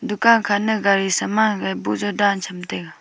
dukan khanang gari saman hagai boh jaw dhan chamtaiga.